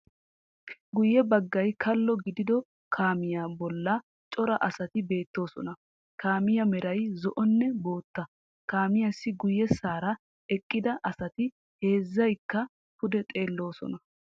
Guyye baggay kalo giddiddo kaamiya bollan cora asati beettoosona. Kaamiya meray zo"onne bootta, kaamiyassi guyessara eqqida asati heezzaykka pude xeelloosona.